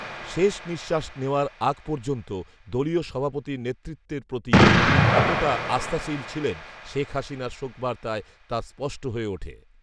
শেষ নিঃশ্বাস নেয়ার আগ পর্যন্ত দলীয় সভাপতির নেতৃত্বের প্রতি তিনি কতটা আস্থাশীল ছিলেনে শেখহাসিনার শোকবার্তায় তা স্পষ্ট হয়ে উঠে